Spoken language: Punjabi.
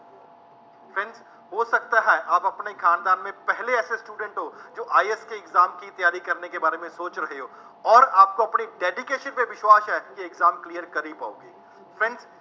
ਹੋ ਸਕਦਾ ਹੈ ਆਪ ਆਪਣੇ ਖਾਨਦਾਨ ਮੇਂ ਪਹਿਲੇ ਐਸੇ student ਹੋ ਜੋ IAS ਕੇ exam ਕੀ ਤਿਆਰੀ ਕਰਨੇ ਕੇ ਬਾਰੇ ਮੇਂ ਸੋਚ ਰਹੇ ਹੋ ਅੋਰ ਆਪਕੋ ਅਪਨੀ dedication ਪੇ ਵਿਸ਼ਵਾਸ਼ ਹੈ ਕਿ exam clear ਕਰ ਨਹੀ ਪਾਉਗੇ, friends